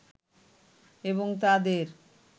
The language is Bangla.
এবং তাদের